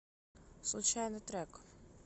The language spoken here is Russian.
случайный трек